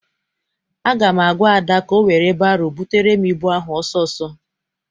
Aga m agwa Ada ka ọ were baro butere m ịbụ ahụ ọsọ ọsọ!